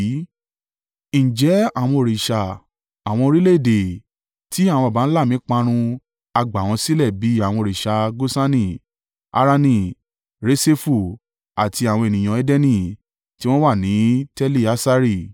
Ǹjẹ́ àwọn òrìṣà àwọn orílẹ̀-èdè tí àwọn baba ńlá mi parun ha gbà wọ́n sílẹ̀ bí àwọn òrìṣà Gosani, Harani, Reṣefu àti àwọn ènìyàn Edeni tí wọ́n wà ní Teli-Assari?